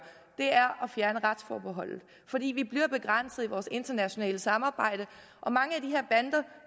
er at fjerne retsforbeholdet fordi vi bliver begrænset i vores internationale samarbejde og mange af